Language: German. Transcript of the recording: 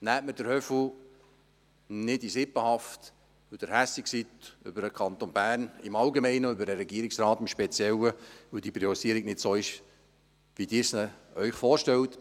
Nehmen Sie den «Höfu» nicht in Sippenhaft, weil Sie verärgert sind über den Kanton Bern im Allgemeinen und über den Regierungsrat im Speziellen, da die Priorisierung nicht so ist, wie Sie sich diese vorstellen.